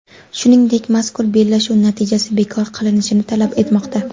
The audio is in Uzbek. Shuningdek, mazkur bellashuv natijasi bekor qilinishini talab etmoqda.